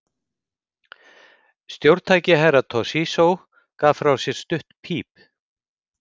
Stjórntæki Herra Toshizo gaf frá sér stutt píp.